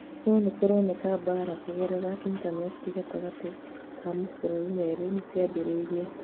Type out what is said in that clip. No nĩkũroneka mbara kũgerera intaneti gatagatĩ ka mabũrũri merĩ nĩciambĩrĩrie